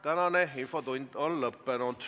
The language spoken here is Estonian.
Tänane infotund on lõppenud.